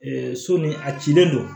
so ni a cilen don